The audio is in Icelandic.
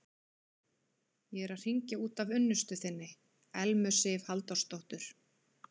Ég er að hringja út af unnustu þinni, Elmu Sif Halldórsdóttur.